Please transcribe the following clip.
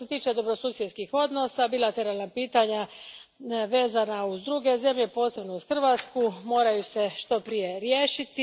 Što se tiče dobrosusjedskih odnosa, bilateralna pitanja vezana uz druge zemlje, posebno uz Hrvatsku moraju se što prije riješiti.